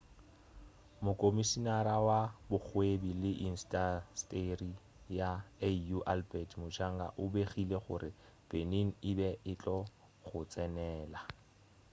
mokomišinara wa bokgwebi le intasteri ya au albert muchanga o begile gore benin e be e tlo go tsenela